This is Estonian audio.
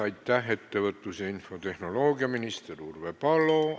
Aitäh, ettevõtlus- ja infotehnoloogiaminister Urve Palo!